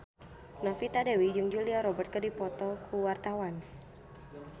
Novita Dewi jeung Julia Robert keur dipoto ku wartawan